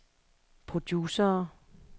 producere